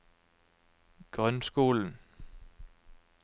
grunnskolen